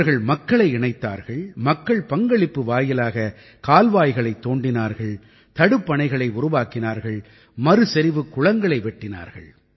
இவர்கள் மக்களை இணைத்தார்கள் மக்கள் பங்களிப்பு வாயிலாக கால்வாய்களைத் தோண்டினார்கள் தடுப்பணைகளை உருவாக்கினார்கள் மறுசெறிவுக் குளங்களை வெட்டினார்கள்